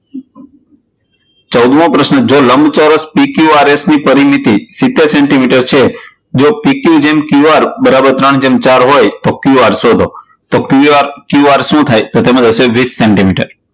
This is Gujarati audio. ચૌદમો પ્રશ્ન, જો લંબચોરસ PQRS ની પરિમિતિ સીતેર સેન્ટીમીટર છે, જો PQgemQR બરાબર ત્રણ ચાર હોય તો QR શોધો, તો QR શું થાય? તો તેમાં જવાબ આવશે વીશ સેન્ટીમીટર